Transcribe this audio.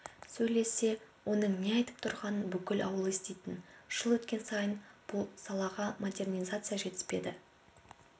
сөйлессе оның не айтып тұрғанын бүкіл ауыл еститін жыл өткен сайын бұл салаға модернизация жетіспеді